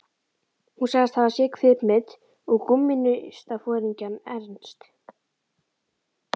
Hún sagðist hafa séð kvikmynd um kommúnistaforingjann Ernst